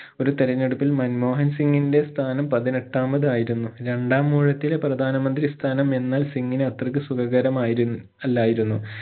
ഒരു തിരെഞ്ഞെടുപ്പിൽ മൻമോഹൻ സിംഗിന്റെ സ്ഥാനം പതിനെട്ടാമതായിരുന്നു രണ്ടാം ഊഴത്തിലെ പ്രധാന മന്ത്രി സ്ഥാനം എന്നാൽ സിംഗിന് അത്രക്ക് സുഖകരം ആയിരു അല്ലായിരുന്നു